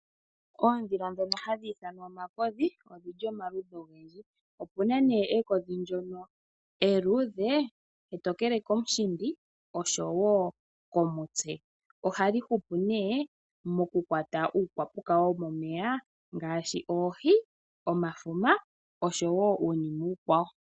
Oondhila ndhono hadhi ithanwa ekodhi odhi li omaludhi nomaludhi. Opu na nduno ekodhi ndyono eluudhe etookele komushindi noshowo komutse. Ohali hupu nduno mokukwata iinamwenyo yomomeya ngaashi oohi, omafuma noshowo uunima uukwawo.